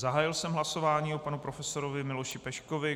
Zahájil jsem hlasování o panu profesorovi Miloši Peškovi.